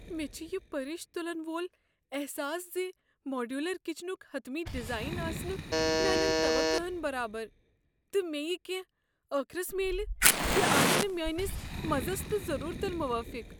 مےٚ چھ یہ پرِش تلن وول احساس ز ماڈیولر کچنک حطمی ڈیزاین آسہِ نہٕ میانین توقہن برابر، تہٕ مے٘ یہِ كٮ۪نٛہہ ٲخرس میلہِ تہِ آسہِ نہٕ میٲنِس مزس تہٕ ضروٗرتن موٲفِق۔